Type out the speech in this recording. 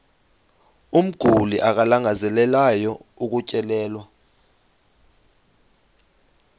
umguli alangazelelayo ukutyelelwa